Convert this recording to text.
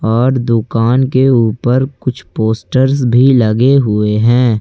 और दुकान के ऊपर कुछ पोस्टर्स भी लगे हुए हैं।